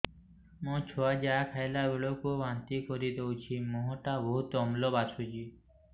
ମୋ ଛୁଆ ଯାହା ଖାଇଲା ବେଳକୁ ବାନ୍ତି କରିଦଉଛି ମୁହଁ ଟା ବହୁତ ଅମ୍ଳ ବାସୁଛି